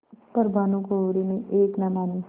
पर भानुकुँवरि ने एक न मानी